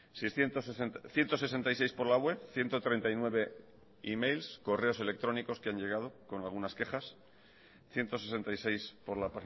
ciento sesenta y seis por la web ciento treinta y nueve e mails correos electrónicos que han llegado con algunas quejas ciento sesenta y seis por la